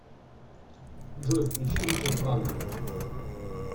джой включи ричард вагнэр